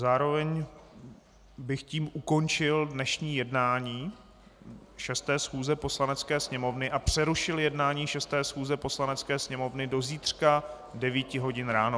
Zároveň bych tím ukončil dnešní jednání 6. schůze Poslanecké sněmovny a přerušil jednání 6. schůze Poslanecké sněmovny do zítřka 9 hodin ráno.